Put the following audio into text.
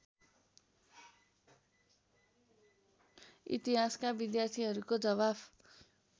इतिहासका विद्यार्थीहरूको जवाफ